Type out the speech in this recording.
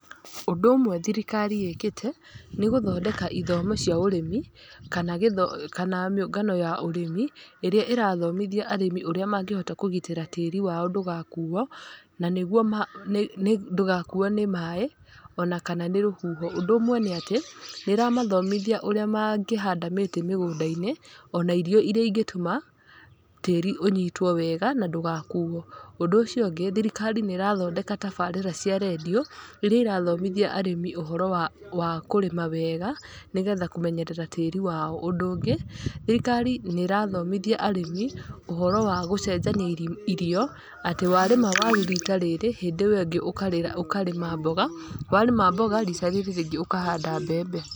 Ũndũ ũmwe thirikari ĩkite, nĩ gũthondeka ĩthomo cĩa ũrĩmi kana gĩtho kana mĩũngano ya ũrĩmi ĩrĩa ĩrathomithia arĩmi ũrĩa mangĩhota kũgitĩra tĩri wao ndũgakuwo, na niguo ma nĩ nĩ ndũgakuwo nĩ maĩĩ ona kana nĩ rũhuho. Ũndũ ũmwe nĩ atĩ, nĩĩramathomithia ũrĩa mangĩhanda mĩtĩ mĩgũnda-inĩ ona irio irĩa ingĩtũma tĩĩri ũnyitwo wega na ndũgakuwo. Ũndũ ũcio ũngĩ, thirikari nĩĩrathodeka tabarĩra cia radio iria irathomithia arĩmi ũhoro wa wa kũrĩma wega nĩgetha kũmenyerera tĩĩri wao. Ũndũ ũngĩ, thirikari nĩĩrathomithia arĩmi ũhoro wa gũcenjania irim irio, atĩ warĩma waru rita rĩrĩ hĩndĩ ĩwengĩ ũkarĩ ũkarĩma mboga, warĩma mboga rĩta rĩrĩ rĩngĩ ũkarĩma mbembe.